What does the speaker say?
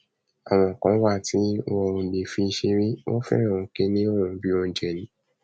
àwọn kan wà tí wọn ò lè fi ṣeré wọn fẹràn kínní ọhún bíi oúnjẹ ni